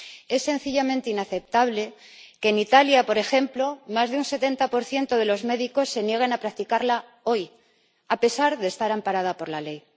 Es sencillamente inaceptable que en Italia, por ejemplo, más de un 70 de los médicos se nieguen a practicarla hoy, a pesar de estar amparada por la ley.